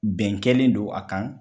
Bɛn kɛlen do a kan.